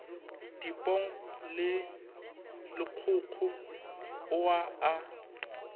dipong le lekgokgo aowa a